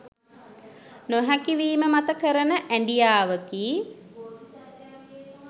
නොහැකි වීම මත කරන ඇඞියාවකි